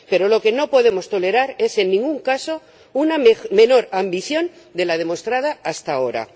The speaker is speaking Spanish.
Pero lo que no podemos tolerar es, en ningún caso, una menor ambición que la demostrada hasta ahora.